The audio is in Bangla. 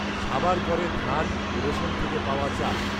সাবাড় করে ধান ও রেশন থেকে পাওয়া চাল